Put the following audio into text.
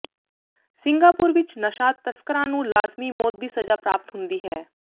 Singapore ਵਿੱਚ ਨਸ਼ਾ ਤਸਕਰਾਂ ਨੂੰ ਲਾਜ਼ਮੀ ਮੌਤ ਦੀ ਸਜ਼ਾ ਪ੍ਰਾਪਤ ਹੁੰਦੀ ਹੈ